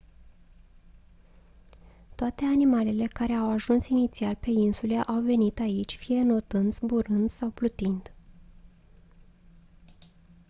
toate animalele care au ajuns inițial pe insule au venit aici fie înotând zburând sau plutind